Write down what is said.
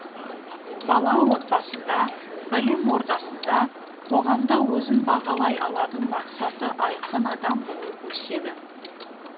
бала отбасында білім ордасында қоғамда өзін бағалай алатын мақсаты айқын адам болып өседі